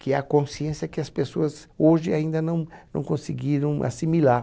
Que é a consciência que as pessoas hoje ainda não não conseguiram assimilar.